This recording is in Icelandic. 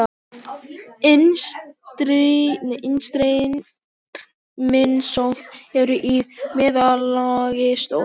Innstreymisop eru í meðallagi stór.